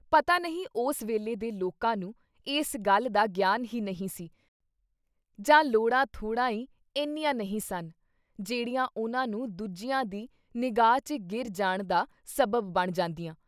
ਪਤਾ ਨਹੀਂ ਉਸ ਵੇਲੇ ਦੇ ਲੋਕਾਂ ਨੂੰ ਇਸ ਗੱਲ ਦਾ ਗਿਆਨ ਹੀ ਨਹੀਂ ਸੀ ਜਾਂ ਲੋੜਾਂ-ਥੋੜ੍ਹਾ ਈ ਏਨੀਆਂ ਨਹੀਂ ਸਨ, ਜਿਹੜੀਆਂ ਉਨ੍ਹਾਂ ਨੂੰ ਦੂਜਿਆਂ ਦੀ ਨਿਗ੍ਹਾ 'ਚ ਗਿਰ ਜਾਣਦਾ ਸਬੱਬ ਬਣ ਜਾਂਦੀਆਂ I